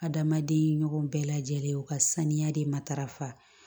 Adamaden ɲɔgɔn bɛɛ lajɛlen u ka saniya de matarafa